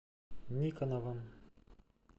никоновым